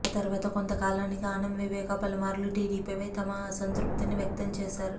ఆ తర్వాత కొంతకాలానికి ఆనం వివేకా పలుమార్లు టీడీపీపై తమ అసంతృప్తిని వ్యక్తం చేశారు